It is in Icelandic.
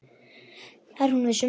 Það er hún viss um.